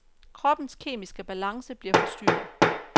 Kroppens kemiske balance bliver forstyrret.